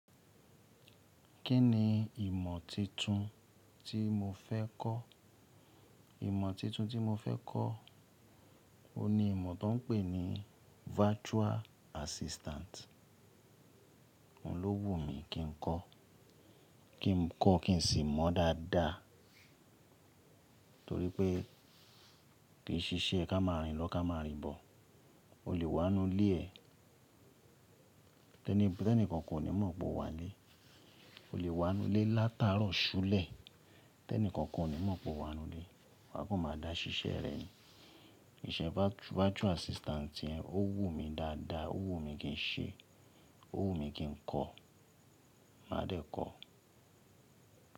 Kí ni ìmọ̀ tuntun tí mo fẹ́ kọ́? Ìmọ̀ tuntun tí mo fẹ́ kọ́, òun ni ìmọ̀ tó ń pè ní virtual assistant. Òun ló wù mí kí n kọ́, kí n kọ́ kí n sì mọ̀ dáadáa torí pé kì í ṣiṣẹ́ ká máa rìn lọ ká máa rìn bọ̀. O lè wá nú ilé ẹ, tẹ́nìkankán kò ní mọ̀ pé o wà nílé. O lè wà ninu ilé lát'àárọ̀ sulẹ́ t'ẹ́nì kankan ò ní mọ̀ pé o wà nínú ilé, wàá kàn máa dá ṣiṣẹ́ rẹ ní. Ìṣe virtual assistant yẹn ó wù mí dáadáa, ó wù mí kí n ṣe é, ó wù mí kí n kọ́, màá dẹ̀ kọ́ ọ́.